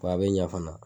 a bɛ ɲɛ fana